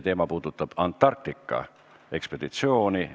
Küsimus puudutab Antarktika ekspeditsiooni.